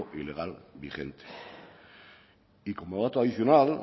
ilegal vigente y como dato adicional